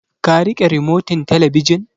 Ka riƙe rimotin talabijin?